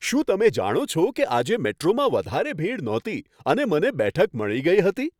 શું તમે જાણો છો કે આજે મેટ્રોમાં વધારે ભીડ નહોતી અને મને બેઠક મળી ગઈ હતી?